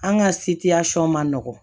An ka ma nɔgɔ